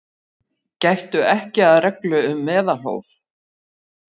Gættu ekki að reglu um meðalhóf